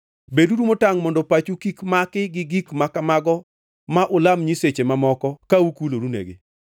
Beduru motangʼ mondo pachu kik maki gi gik ma kamago ma ulam nyiseche mamoko ka ukulorenegi.